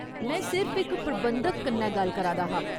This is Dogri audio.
में सिर्फ इक प्रबंधक कन्नै गल्ल करा दा हा।